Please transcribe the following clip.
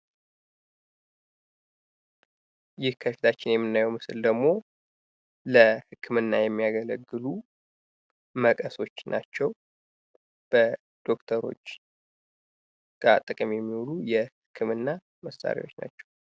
ይህ ከፊታችን የምናየው ምስል ደግሞ ለህክምና የሚያገለግሉ መቀሶች ናቸው። በዶክተሮች ጥቅም የሚውሉ የህክምና መሳሪያዎች ናቸው።